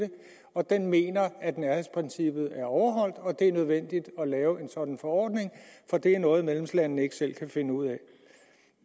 og den mener at nærhedsprincippet er overholdt og at det er nødvendigt at lave en sådan forordning for det er noget medlemslandene ikke selv kan finde ud af